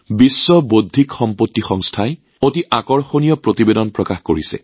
বিশ্ব বৌদ্ধিক সম্পত্তি সংস্থাই এক অতি আকৰ্ষণীয় প্ৰতিবেদন প্ৰকাশ কৰিছে